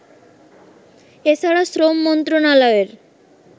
এছাড়া শ্রম মন্ত্রনালয়ের